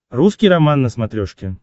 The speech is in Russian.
русский роман на смотрешке